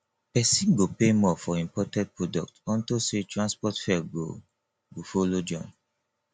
pesin go pay more for imported products unto say transport fare go go follow join